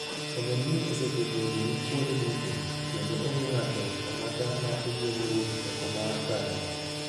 "Ogendin oseketo jorit kuonde duto, kendo onge ng'ato ang'ata ma oyiene wuok oko mar kambi.